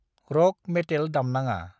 रक मेतेल दामनाङा।